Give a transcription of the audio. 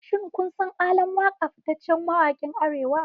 Shin kun san ALAN WAKA fitaccen mawakin Arewa?